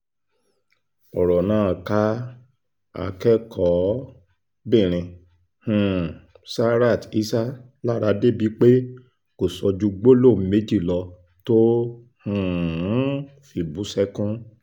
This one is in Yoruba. ọ̀rọ̀ náà ká akẹ́kọ̀ọ́-bìnrin um sarat isah lára débìí pé kò sọ ju gbólóhùn méjì lọ tó um fi bú sẹ́kún